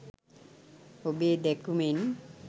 ඔබේ දැකුමෙන්